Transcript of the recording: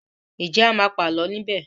Nje a má pa àlọ ní bè?